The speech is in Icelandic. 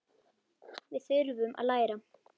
Við þurfum að læra.